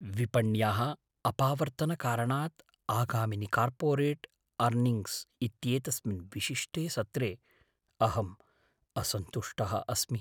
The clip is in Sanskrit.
विपण्याः अपावर्त्तनकारणात् आगामिनि कार्पोरेट् आर्निङ्ग्स् इत्येतस्मिन् विशिष्टे सत्रे अहम् असन्तुष्टः अस्मि।